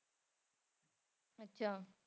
ਅੱਛਾ।